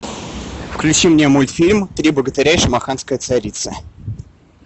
включи мне мультфильм три богатыря и шамаханская царица